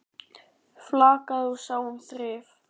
Flakaði og sá um þrif.